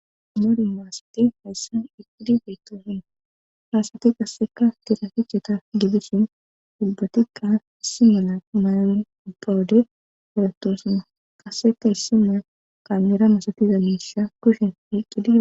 moru maasati hayssan iqqidi feetosun haasati qasseka tiraficheta gibishin dubbatikqa issi mala mayawon ubpawode eratoosana qasseka issi mea qamira masatiza miisa kushen hiqqidi